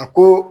A ko